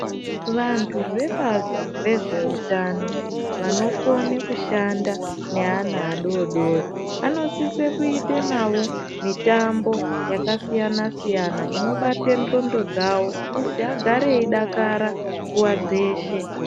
Vantu vebazi rezveutano vanokone kushanda nevana vadodori vanosise kuite nawo mutambo yakasiyana siyana Inobate ndxondo dzawo kuti agare eidakara nguwa dzeshe.